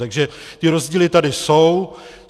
Takže ty rozdíly tady jsou.